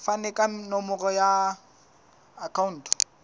fane ka nomoro ya akhauntu